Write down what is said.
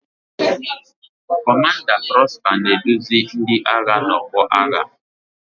Kọmanda Prosper na-eduzi ndị agha n'ọgbọ agha.